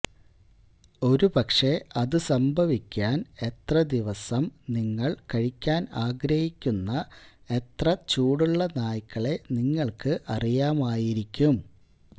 ഒരുപക്ഷേ അത് സംഭവിക്കാൻ എത്ര ദിവസം നിങ്ങൾ കഴിക്കാൻ ആഗ്രഹിക്കുന്ന എത്ര ചൂടുള്ള നായ്ക്കളെ നിങ്ങൾക്ക് അറിയാമായിരിക്കും